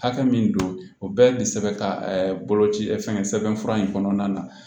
Hakɛ min don o bɛɛ ye sɛbɛn ka boloci fɛn fɛn sɛbɛnfura in kɔnɔna na